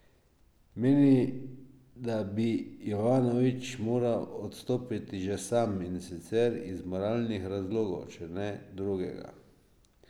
Meni, da bi Jovanovič moral odstopiti že sam, in sicer iz moralnih razlogov, če ne drugega.